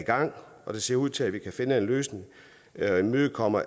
gang og det ser ud til at vi kan finde en løsning der imødekommer